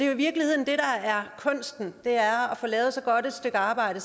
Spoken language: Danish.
i virkeligheden er kunsten er at få lavet så godt et stykke arbejde